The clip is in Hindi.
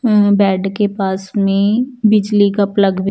अम्म बेड के पास में बिजली का प्लग भी--